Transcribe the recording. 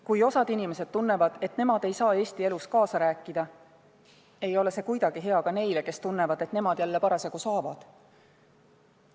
Kui osa inimesi tunneb, et nemad ei saa Eesti elus kaasa rääkida, ei ole see kuidagi hea ka neile, kes tunnevad, et nemad jälle parasjagu saavad.